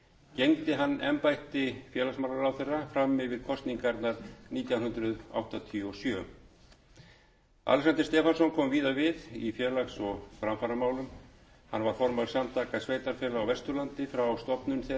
gegndi hann embætti félagsmálaráðherra fram yfir kosningarnar nítján hundruð áttatíu og sjö alexander stefánsson kom víða við í félags og framfaramálum hann var formaður samtaka sveitarfélaga á vesturlandi frá stofnun þeirra nítján hundruð sextíu og níu til nítján hundruð sjötíu